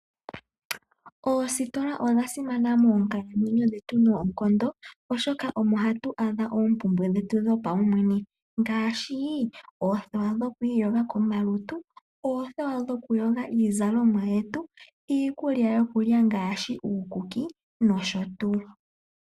Oositola odha simana moonkatu nodhetu noonkondo oshoka omo hatu adha oompumbwe dhetu dhopaumwene ngaashi oothewa dhikwiyoga komalutu nokuyoga iizalomwa yetu, iikulya yokulya ngaashi uukuki nosho tuu.